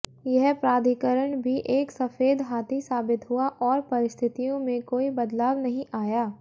यह प्राधिकरण भी एक सफेद हाथी साबित हुआ और परिस्थितियों में कोई बदलाव नहीं आया